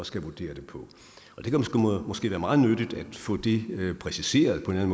skal vurdere det på og det kan måske være meget nyttigt at få det præciseret på en